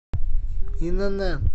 инн